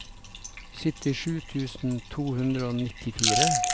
syttisju tusen to hundre og nittifire